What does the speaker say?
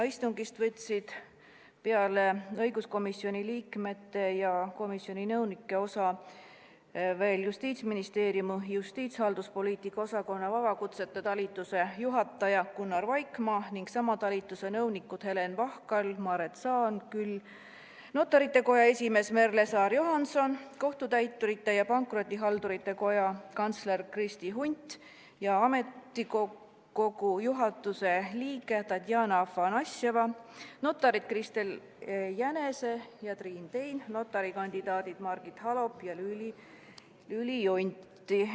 Istungist võtsid peale õiguskomisjoni liikmete ja nõunike osa veel Justiitsministeeriumi justiitshalduspoliitika osakonna vabakutsete talituse juhataja Gunnar Vaikmaa ning sama talituse nõunikud Helen Vahkal ja Maret Saanküll, Notarite Koja esimees Merle Saar-Johanson, Kohtutäiturite ja Pankrotihaldurite Koja kantsler Kristi Hunt ja ametikogu juhatuse liige Tatjana Afanasjeva, notarid Kristel Jänese ja Triin Tein, notari kandidaadid Margit Halop ja Lüüli Junti.